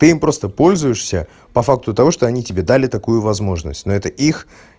ты им просто пользуешься по факту того что они тебе дали такую возможность но это их